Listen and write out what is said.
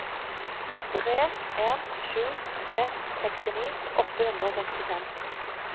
tre en sju tre sekstini åtte hundre og sekstifem